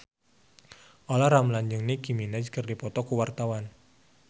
Olla Ramlan jeung Nicky Minaj keur dipoto ku wartawan